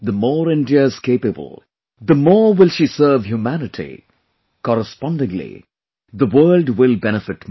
The more India is capable, the more will she serve humanity; correspondingly the world will benefit more